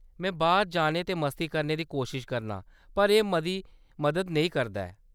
में बाह्‌‌र जाने ते मस्ती करने दी कोशश करनां, पर एह्‌‌ मती मदद नेईं करदा ऐ।